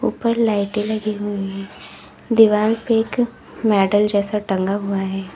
ऊपर लाइटें लगी हुई हैं दीवाल पे एक मेडल जैसा टंगा हुआ है।